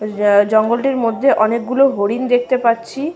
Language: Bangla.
এ-এ জঙ্গলটির মধ্যে অনেকগুলো হরিণ দেখতে পাচ্ছি।